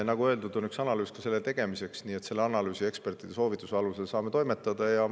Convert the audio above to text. Nagu öeldud, on valmimas üks analüüs, nii et selle analüüsi ja ekspertide soovituste alusel saame toimetada.